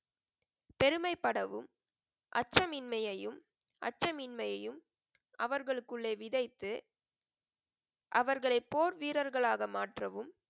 பெருமைப்படவும், அச்சமின்மையையும், அச்சமின்மையையும் அவர்களுக்குள்ளே விதைத்து, அவர்களை போர் வீரர்களாக மாற்றவும்,